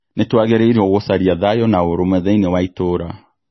Nĩtwagĩrĩirwo gũcaria thayũ na ũrũmwe thĩini wa itũra